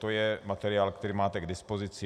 To je materiál, který máte k dispozici.